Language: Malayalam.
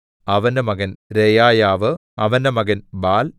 അവന്റെ മകൻ രെയായാവ് അവന്റെ മകൻ ബാൽ